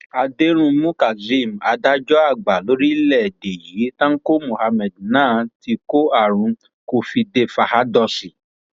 àdẹrùnmú kazeem adájọ àgbà lórílẹèdè yìí tanko muhammad náà ti kó àrùn covidefahádọọsì